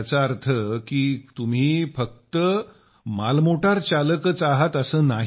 याचा अर्थ काही तुम्ही फक्त मालमोटार चालकच आहे असे नाही